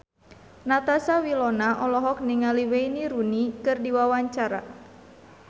Natasha Wilona olohok ningali Wayne Rooney keur diwawancara